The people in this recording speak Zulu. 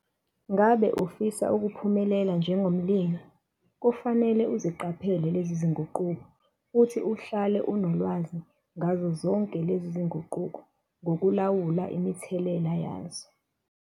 Ngabe ufisa ukuphumelela njengomlimi, kufanele uziqaphele lezi zinguquko futhi uhlale unolwazi ngazo zonke lezi zinguquko ngokulawula imithelela yazo.